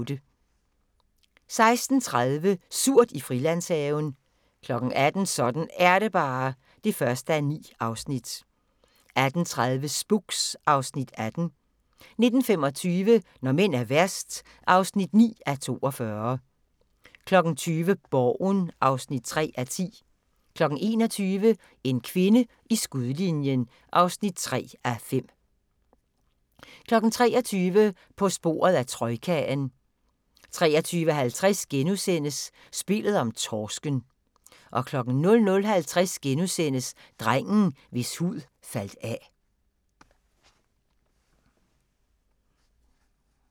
16:30: Surt i Frilandshaven 18:00: Sådan er det bare (1:9) 18:30: Spooks (Afs. 18) 19:25: Når mænd er værst (9:42) 20:00: Borgen (3:10) 21:00: En kvinde i skudlinjen (3:5) 23:00: På sporet af troikaen 23:50: Spillet om torsken * 00:50: Drengen, hvis hud faldt af *